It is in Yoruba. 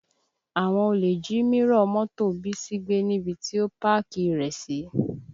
Àwọn olè jí mírọ̀ mọ́tò Bísí gbé níbi tí ó pákì rẹ̀ sí